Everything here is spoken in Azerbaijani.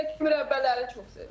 Bir də ki, mürəbbələri çox sevir.